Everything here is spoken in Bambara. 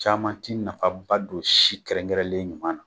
Caman ti nafaba don si kɛrɛnkɛrɛnlen ɲuman na